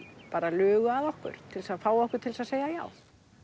lugu að okkur til þess að fá okkur til að segja já